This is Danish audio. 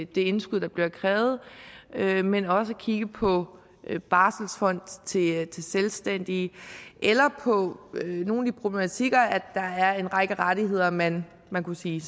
det indskud der bliver krævet men også kigge på barselsfond til selvstændige eller på nogle af de problematikker med at der er en række rettigheder man man kunne sige